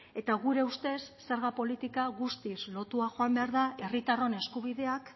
eta gure ustez zerga politika guztiz lotua joan behar da herritarron eskubideak